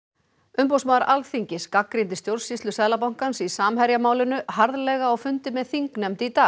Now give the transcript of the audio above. umboðsmaður Alþingis gagnrýndi stjórnsýslu Seðlabankans í Samherjamálinu harðlega á fundi með þingnefnd í dag